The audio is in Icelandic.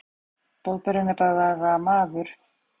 Boðberinn er bara maður.